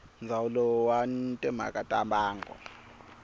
ndzawulo wa timhaka ta mbango